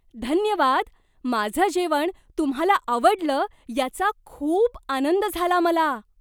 धन्यवाद! माझं जेवण तुम्हाला आवडलं याचा खूप आनंद झाला मला.